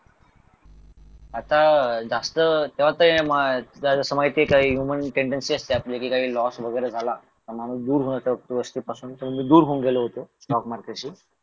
आता जास्त तेव्हा ते तुला ते माहिती आहे का ह्युमन टेंडन्सी असते आपली कि काही लॉस वगैरे झाला तर माणूस दूर होऊन जाते त्यापासून तसा मी दूर होऊन गेलो होतो स्टॉक मार्केटशी